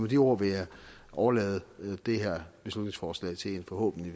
de ord vil jeg overlade det her beslutningsforslag til en forhåbentlig